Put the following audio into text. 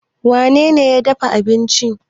wanene ya dafa abinci?